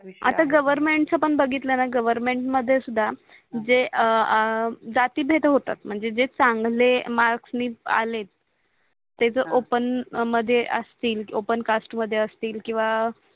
गवर्नमेंटच पण बगीतलणा गवर्नमेंट मध्ये सुद्धा जे जाती भेद होतात म्हणजे जे चांगले मार्क्सणी आले ते जर ओपेन मध्ये असतील ओपेन कास्ट मध्ये असतील किवा